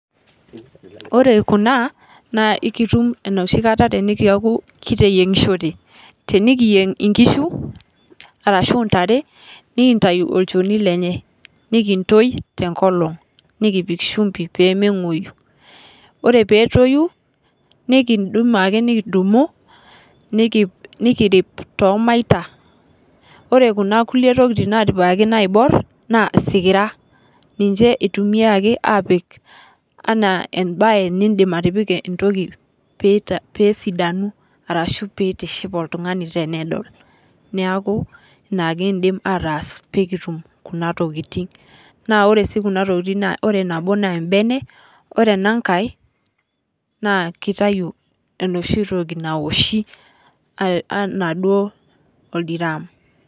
Ore Kuna naa ekitum enoshi kata teneeku kiteyiengishote ,teneyieng inkishu orashu intare nikintayu olchoni lenye nekintoi tenkolong nekipik shumpi pee mengwoyu ,ore pee etoyu nikindim ake nikidumu nikirip toomaita ,orekuna kulie tokiting napikikaki naibor naa isikira ,ninche eitumiaki apik enaa embaye nidim atipika entoki pee esidanu orashu pee eitiship oltungani tenedol. neeku ina kindip aatas pee kitum Kuna tokiting . naa ore sii Kuna tokiting ore nabo naa embene ore enankae naa kitayu enoshi toki nawoshi enaa duo oldiram.